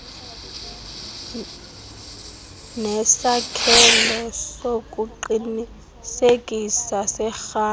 nesakhelo sokuqinisekisa serhafu